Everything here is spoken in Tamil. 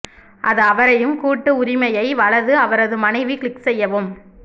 அது அவரையும் கூட்டு உரிமையை வலது அவரது மனைவி கிளிக் செய்யவும்